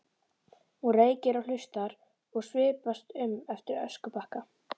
Hún reykir og hlustar og svipast um eftir öskubakka.